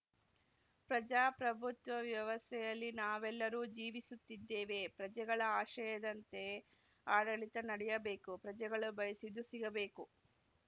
ಪ್ರಜಾಪ್ರಭುತ್ವ ವ್ಯವಸ್ಯೆಯಲ್ಲಿ ನಾವೆಲ್ಲರೂ ಜೀವಿಸುತ್ತಿದ್ದೇವೆ ಪ್ರಜೆಗಳ ಆಶಯದಂತೆ ಆಡಳಿತ ನಡೆಯಬೇಕು ಪ್ರಜೆಗಳು ಬಯಸಿದ್ದು ಸಿಗಬೇಕು